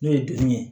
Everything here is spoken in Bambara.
N'o ye bilen ye